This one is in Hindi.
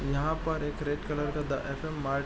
यहां पर एक रेड कलर का द एफ.एम. मार्ट --